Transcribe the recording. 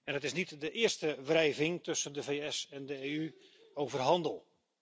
Het is niet de eerste wrijving tussen de VS en de EU over handel.